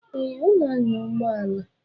Eh, ọ na-anya ụgbọala.